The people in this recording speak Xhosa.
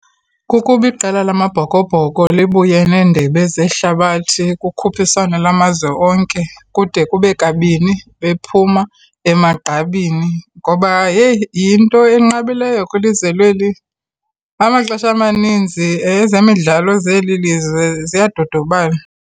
Kukuba iqela lamaBhokoBhoko libuye neendebe zehlabathi, kukhuphiswano lwamazwe onke kude kube kabini bephuma emagqabini. Ngoba yheyi, yinto enqabileyo kwilizwe lweli. Amaxesha amaninzi ezemidlalo zeli lizwe ziyadodobala.